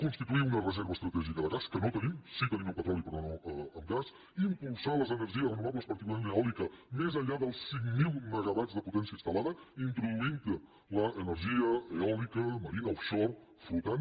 constituir una reserva estratègica de gas que no en tenim sí en tenim amb petroli però no amb gas impulsar les energies renovables particularment l’eòlica més enllà dels cinc mil megawatts de potència instal·lada introduint hi l’energia eòlica marina offshore flotant